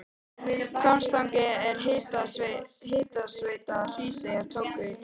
Hvammstanga og Hitaveita Hríseyjar tóku til starfa.